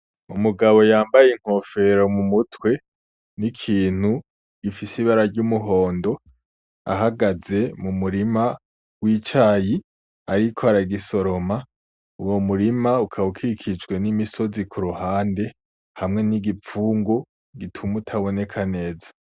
Umugabo yambaye inkofero mu mutwe n'ikintu gifise ibara ry'umuhondo ahagaze mu murima w'icayi ariko aragisoroma. Uwo murima ukaba ukikijwe n'imisozi ku ruhande, hamwe n'igipfungu gituma utaboneka neza.